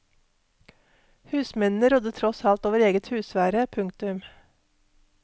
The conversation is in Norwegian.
Husmennene rådde tross alt over eget husvære. punktum